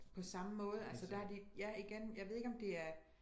På samme måde altså der er de ja igen jeg ved ikke om det er